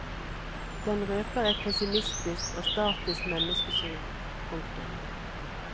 Den røper et pessimistisk og statisk menneskesyn. punktum